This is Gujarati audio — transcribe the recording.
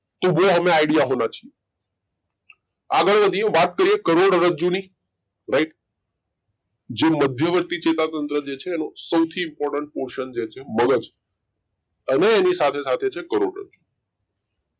तो वो हमें आइडिया होना चाहिए આગળ વધીયે વાત કરીયે કરોડરજ્જુ ની રાઈટ જે મધ્ય વર્તી ચેતાતંત્ર જે છે એનો સૌથી important portion જે છે મગજ અને એની સાથે સાથે છે કરોડરજ્જુ